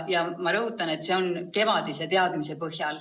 Ja ma rõhutan, et jutt on eelmisest kevadest.